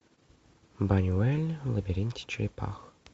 бунюэль в лабиринте черепах